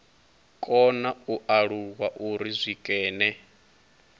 kona u alula uri zwikene